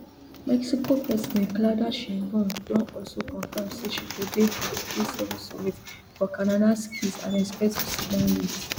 mexico president claudia sheinbaum don also confam say she go dey for di gseven summit for kananaskis and expect to sit down wit